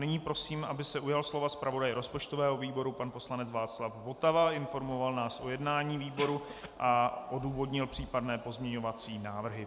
Nyní prosím, aby se ujal slova zpravodaj rozpočtového výboru pan poslanec Václav Votava a informoval nás o jednání výboru a odůvodnil případné pozměňovací návrhy.